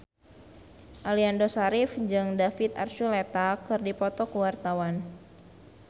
Aliando Syarif jeung David Archuletta keur dipoto ku wartawan